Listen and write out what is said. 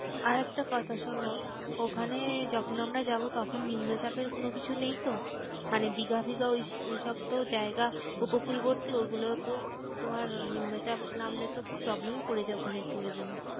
আরেকটা কথা শোনো ওখানে যখন আমরা যাবো তখন নিম্নচাপের কোনো কিছু নেই তো? মানে দিঘা ফিগা ওইসব ওইসব তো জায়গা উপকূলবর্তী ওগুলোতে তোমার নিম্নচাপ নামলে তো খুব problem এ পরে যায় ওখানের tourism.